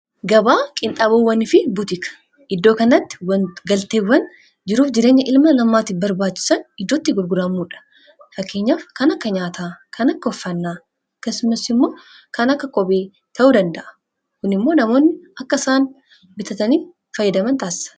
gabaa qinxabowwan fi butika iddoo kanatti galteewwan jiruuf jireenya ilma namaatiif barbaachisan iddootti gurguraamuudha. fakkeenyaaf kan akka nyaataa kan akka uffannaa akkasumas immoo kan akka kophee ta'uu danda'a. kun immoo namoonni akka isaan bitatanii fayyadaman taasisa